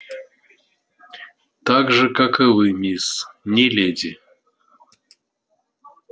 так же как и вы мисс не леди